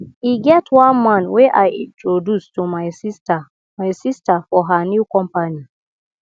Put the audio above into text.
e get one man wey i introduce to my sister my sister for her new company